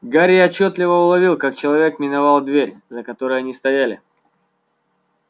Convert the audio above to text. гарри отчётливо уловил как человек миновал дверь за которой они стояли